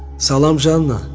Salam Janna.